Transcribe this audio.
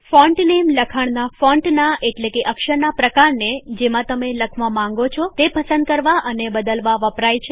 font name લખાણનાં ફોન્ટનાં એટલેકે અક્ષરના પ્રકારને જેમાં તમે લખવા માંગો છો તે પસંદ કરવા અને બદલવા વપરાય છે